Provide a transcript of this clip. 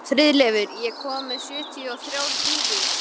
Friðleifur, ég kom með sjötíu og þrjár húfur!